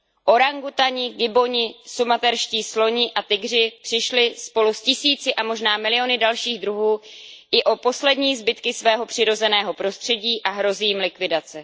Orangutani, gibboni, sumaterští sloni a tygři přišli spolu s tisíci a možná miliony dalších druhů i o poslední zbytky svého přirozeného prostředí a hrozí jim likvidace.